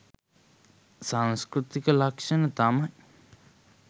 සංස්කෘතික ලක්‍ෂණ තමයි